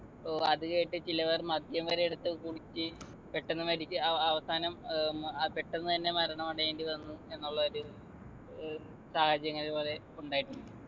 പ്പോ അതുകേട്ട് ചിലവർ മദ്യം വരെ എടുത്ത് കുടിച്ച് പെട്ടെന്ന് മരിച്ച് അഹ് അവസാനം ഏർ ഉം അഹ് പെട്ടെന്ന് തന്നെ മരണമടയേണ്ടി വന്നു എന്നുള്ള ഒരു ഏർ സാഹചര്യങ്ങള് കൊറേ ഉണ്ടായിട്ടുണ്ട്